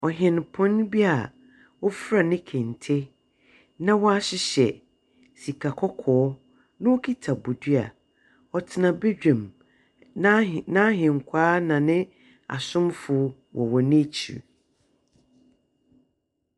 Ɔhene pon bi a ɔfra ne Kente na wa hyehyɛ sika kɔkɔɔ na ɔkuta bɔdwea ɔtena bɛdwam na ahenkwa na asomfoc wɔ wɔ na akyire.